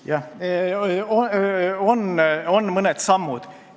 Jah, on mõned sammud.